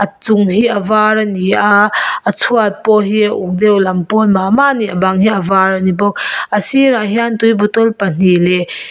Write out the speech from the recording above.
a chung hi a var ani a a chhuat pawh hi a uk deuh lam pawl mah mah ani bang hi a var ani bawk a sîrah hian tui bottle pahnih leh--